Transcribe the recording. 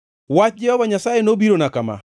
Wach Jehova Nyasaye nobirona kama: